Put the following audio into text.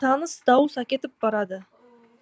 таныс дауыс әкетіп барады